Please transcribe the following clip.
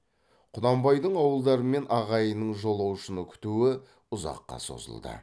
құнанбайдың ауылдары мен ағайынының жолаушыны күтуі ұзаққа созылды